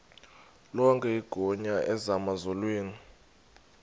lonke igunya emazulwini